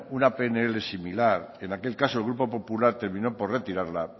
una pnl similar en aquel caso el grupo popular terminó por retirarla